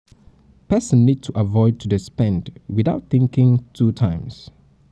person need to avoid to dey spend without thinking two thinking two times